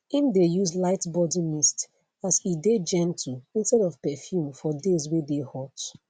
im dae use light body mist as e dae gentle instead of perfume for days wae dae hot